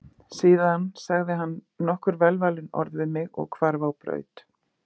Síðan sagði hann nokkur velvalin orð við mig og hvarf á braut.